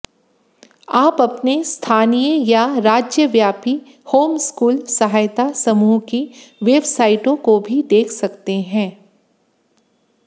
आप अपने स्थानीय या राज्यव्यापी होमस्कूल सहायता समूह की वेबसाइटों को भी देख सकते हैं